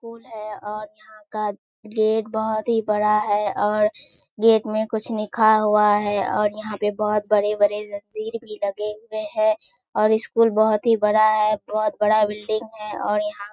school है और यहाँ का गेट बहुत ही बड़ा है और गेट में कुछ लिखा हुआ है और यहाँ पे बहुत बडे-बडे जंजीर भी लगे हुए हैं और स्‍कूल बहुत ही बड़ा है बहुत बड़ा बिल्डिग है और यहाँ --